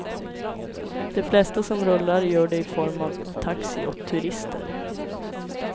De flesta som rullar gör det i form av taxi åt turister.